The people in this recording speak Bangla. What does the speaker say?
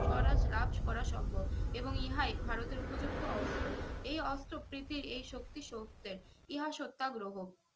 স্বরাজ রাজ করা সম্ভব এবং ইহাই ভারতের উপযুক্ত অস্ত্র এই অস্ত্র প্রীতির এই শক্তি সৌতের ইহা সত্যাগ্রহ